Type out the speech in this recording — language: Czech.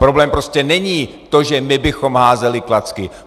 Problém prostě není to, že my bychom házeli klacky.